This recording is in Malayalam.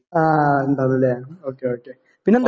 ആയ ഇണ്ടാന്നുലെ ഓക്കേ ഓക്കേ പിന്നെന്താ.